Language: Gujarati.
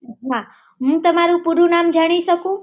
હા હુ તમારું પૂરું નામ જાણી શકું છું